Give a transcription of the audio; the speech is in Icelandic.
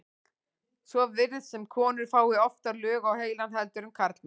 svo virðist sem konur fái oftar lög á heilann heldur en karlmenn